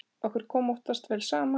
Okkur kom oftast vel saman.